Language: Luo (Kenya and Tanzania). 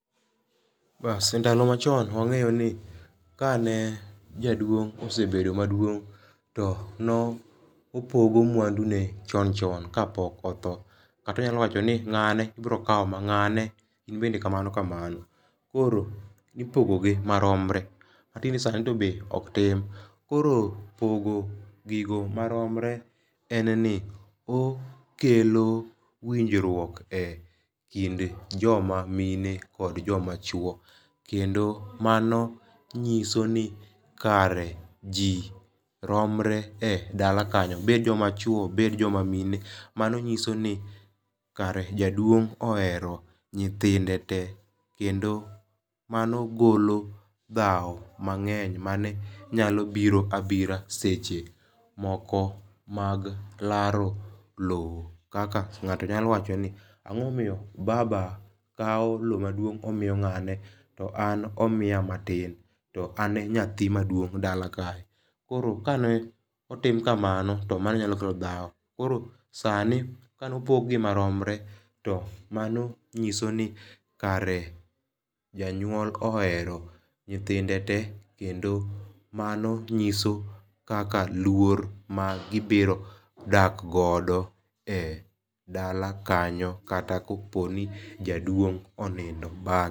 E ndalo machon wang'eyo ni ka ne jaduong' osebedo maduong' to no opogo mwandu ne chon chon ka pok odho. Kata onyalo wacho ni ng'ane ibiro kaw ma. Ng'ane in bende kamano kamano. Koro nipogo gi maromre. Ka tinde sani to be ok tim. Koro pogo gigo maromre en ni okelo winjruok e kind joma mine kod joma chuo. Kendo mano nyiso ni kare ji romre e dala kanyo bed joma chuo bed joma mine. Mano nyiso ni kare jaduong' ohero nyithinde te kendo mano golo dhaw mang'eny mane nyalo biro abira seche moko mag laro low kaka ng'ato nyalo wacho ni ang'o momiyo baba kaw low maduong' omiyo ng'ane to an omikya matin to an e nyathi maduong' e dala kae. Koro kane otim kamano to mano nyalo kelo dhaw koro sani kano pog gi maromre mano nyiso ni kare janyuol ohero nyithinde te kendo mano nyiso kaka luor ma gibiro dak godo e dala kanyo kata kopo ni jaduong' onindo.